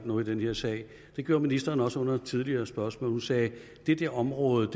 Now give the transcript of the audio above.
noget i den her sag gjorde ministeren også under et tidligere spørgsmål hun sagde det der område